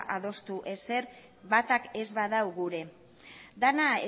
adostu ezer batak ez badu gure dena